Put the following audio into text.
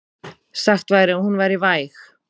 Sagt væri að hún væri væg.